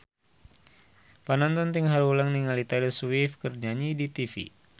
Panonton ting haruleng ningali Taylor Swift keur nyanyi di tipi